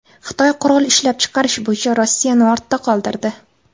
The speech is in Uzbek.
Xitoy qurol ishlab chiqarish bo‘yicha Rossiyani ortda qoldirdi.